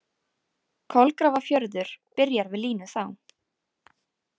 Kolgrafafjörður byrjar við línu þá.